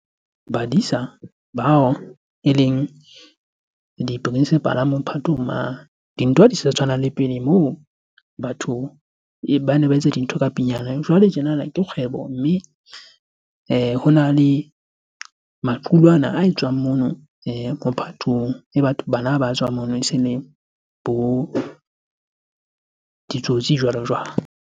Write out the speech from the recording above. Badisa bao eleng di-principal-a mophatong mane. Dintho ha di sa tshwana le pele moo batho bane ba etsa dintho ka . Jwale tjenana ke kgwebo, mme hona le maqulwana a etswang mono mophatong. E batho bana ba tswang mono e se le bo ditsotsi jwalo-jwalo.